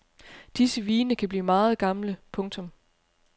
Disse vine kan blive meget gamle. punktum